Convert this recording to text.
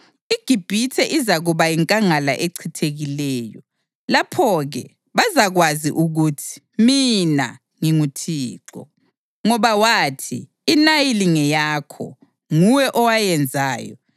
IGibhithe izakuba yinkangala echithekileyo. Lapho-ke bazakwazi ukuthi mina nginguThixo. Ngoba wathi, “INayili ngeyakho; nguwe owayenzayo,”